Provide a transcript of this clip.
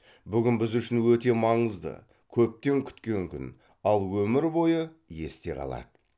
бүгін біз үшін өте маңызды көптен күткен күн ал өмір бойы есте қалады